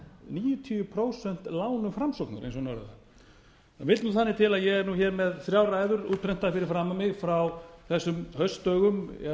níutíu prósent lánum framsóknar eins og hún orðaði það það vill þannig til að ég er hér með þrjár ræður útprentaðar fyrir framan mig frá þessum haustdögum